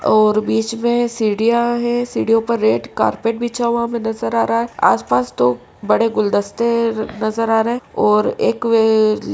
और बीच में सीडियां हैं। सीड़ियों पर रेड कारपेट बिछा हुआ हमे नज़र आ रहा है। आस पास दो बड़े गुलदस्ते नज़र आ रहे और एक --